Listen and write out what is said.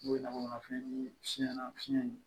N'o ye lamɔnfɛn ye fiɲɛ na fiɲɛ ye